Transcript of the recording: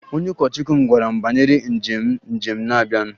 Onye ụkọchukwu m gwara m banyere njem njem na-abịanụ